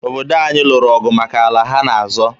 Obodo anyị lụrụ ọgụ maka ala ha na-azọ.